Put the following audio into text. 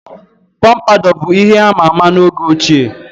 Pompadour bụ ihe ama ama na oge ochie.